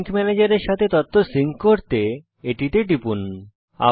sync ম্যানেজের এর সাথে তথ্য সিঙ্ক করতে আপনি এটিতে টিপতে পারেন